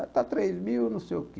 Está três mil, não sei o que.